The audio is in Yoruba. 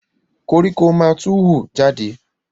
Koríko ma tó hù jade